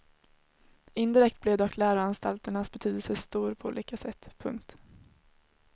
Indirekt blev dock läroanstalternas betydelse stor på olika sätt. punkt